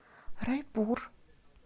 райпур